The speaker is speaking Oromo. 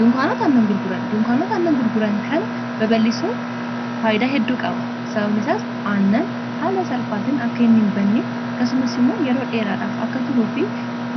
dunkaanota annan gurguran kana baballisoon faaydaa hedduu qaba sababanisaa aannan haala salphaatiin akka hin hinbanne kasumas immoo yeroo dheeraadhaaf akka turuu fi